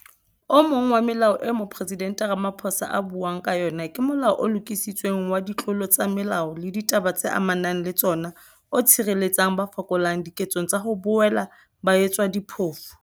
O mong wa melao eo Mopresidente Ramaphosa a buang ka yona ke Molao o Lokisitsweng wa Ditlolo tsa Molao le Ditaba tse Ama nang le Tsona o tshireletsang ba fokolang diketsong tsa ho boela ba etswa diphofu.